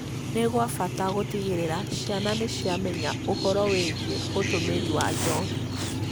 nĩ gwa bata gũtigĩrĩra ciana nĩ ciamenya ũhoro wĩĩgie ũtũmĩri wa njohi,